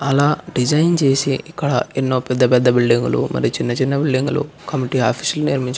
ఆలా డిజైన్ చేసి ఎంతో పెద్ద పెద్ద బిల్డింగులు చిన్న చిన్న బిల్డింగులు కమిటీ ఆఫీస్ --